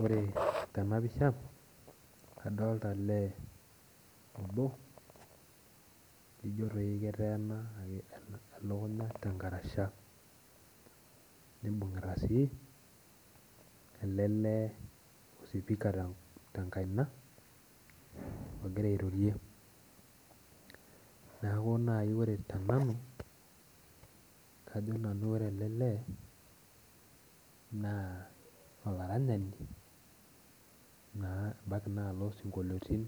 Ore tenapisha adolita olee obo laijo doi keteena elukunya tenkarasha nibungita sii ele lee osipika tenkaina ogira airorie ,neeku ore naaji tenanu kajo naaji ore ele leenaa olaranyani ebaiki naa oloosinkliotin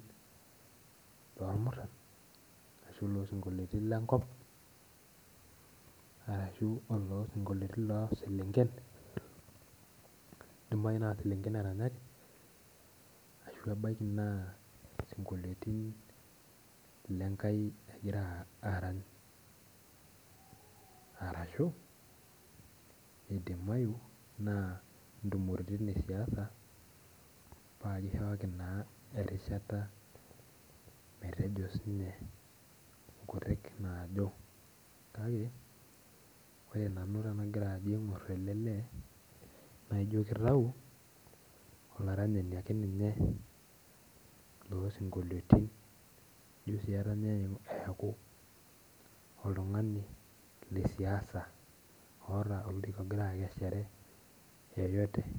loormuran ashu oloosinkoliotin lenkop ashua oloosinkoliotin looselenken ebaiki naa selenkei eranyanki ashu ebaiki naa sikoliotin lenkai egira arany. Orashu ebaiki naa ntumoritin esiaina paa kishooki naa erishata metejo siininye nkutuk naajo kake ore nanu tenagira ajo aingor ele lee naijo kitau olaranyani ake ninye loosinkolioitin ijo sii etanaya eku oltungani lesiaisa oota ologira akeshare yeyote.